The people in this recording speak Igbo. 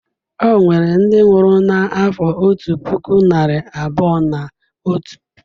Enwere ndị nwụrụ n'afọ otu puku narị abụọ na otu.